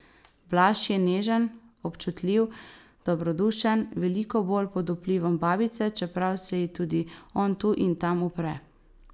Blaž je nežen, občutljiv, dobrodušen, veliko bolj pod vplivom babice, čeprav se ji tudi on tu in tam upre.